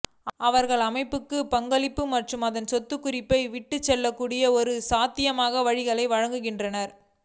அவர்கள் அமைப்புக்கு பங்களிக்கும் மற்றும் அதன் சொந்த குறிப்பை விட்டுச்செல்லக்கூடிய ஒரு சாத்தியமான வழிகளையும் வழங்குகிறார்கள்